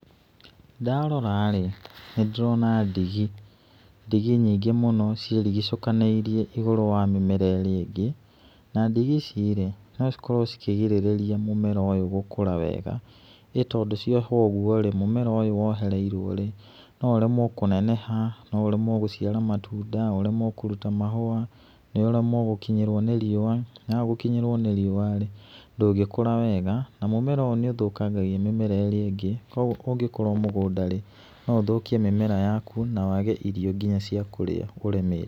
Ndarora rĩ, nĩ ndĩrona ndigi, ndigi nyingĩ mũno ciĩrigicũkanĩirie igũrũ wa mĩmera ĩrĩa ĩngĩ, na ndigi ici rĩ, no cikorwo cikĩgĩrĩrĩria mũmera ũyũ gũkũra wega, ĩ tondũ ciohwo ũguo rĩ, mũmera ũyũ wohereirwo rĩ, no ũremwo kũneneha, no ũremwo gũciara matunda, ũremwo kũruta mahũa, ũremwo gũkinyĩrwo nĩ riũa, na waaga gũkinyĩrwo nĩ riũa ndũngĩkũra wega na mũmera ũyũ nĩ ũthũkagĩria mĩmera ĩrĩa ĩngĩ, koguo ũngĩkorwo mũgũnda rĩ, no ũthũkie mĩmera yaku na wage nginya irio cia kũrĩa ũrĩmĩte.